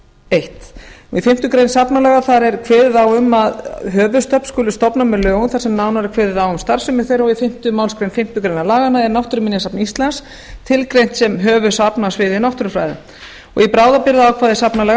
eitt í fimmtu grein safnalaga er kveðið á um að höfuðsöfn skuli stofna með lögum þar sem nánar er kveðið á um starfsemi þeirra og í fimmta málsgrein fimmtu grein laganna er náttúruminjasafn íslands tilgreint sem höfuðsafn á sviði náttúrufræða í bráðabirgðaákvæðum safnalaga